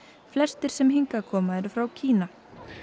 flestir sem hingað koma eru frá Kína